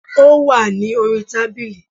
Ó wà ní orí tábìlì